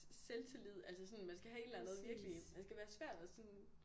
Selvtillid altså sådan man skal have et eller andet virkelig man skal være svær at sådan